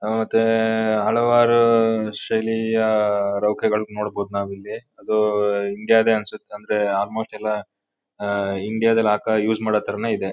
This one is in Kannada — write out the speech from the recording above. ಹ ಮತ್ತೆ ತ್ತೇ ಹಲವಾರೂ ಶೈಲಿಯಾ ಆ ರೊಕ್ಕಗಲ್ ನೋಡಬೋದು ನಾವ್ ಇಲ್ಲಿ ಅದು ಇಂಡಿಯಾ ಡೇ ಅನ್ಸತ್ತ್ ಅಂದ್ರೆ ಆಲ್ಮೋಸ್ಟ್ ಎಲ್ಲ ಆ ಇಂಡಿಯಾ ದಲ್ ಹಾಕ ಯೂಸ್ ಮಾಡೋ ಥರಾನೇ ಇದೆ.